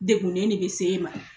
Degunnen de bɛ s'e ma.